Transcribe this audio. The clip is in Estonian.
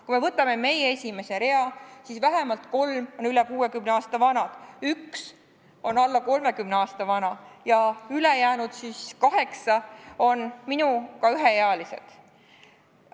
Kui me võtame meie esimese rea, siis vähemalt kolm on üle 60 aasta vanad, üks on alla 30 aasta vana ja ülejäänud siis kaheksa on minuga üheealised.